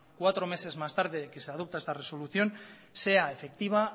cuatro meses más tarde de que se adopta esta resolución sea efectiva